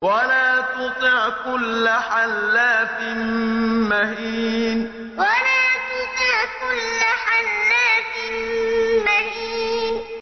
وَلَا تُطِعْ كُلَّ حَلَّافٍ مَّهِينٍ وَلَا تُطِعْ كُلَّ حَلَّافٍ مَّهِينٍ